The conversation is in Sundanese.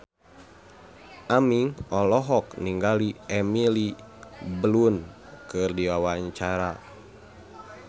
Aming olohok ningali Emily Blunt keur diwawancara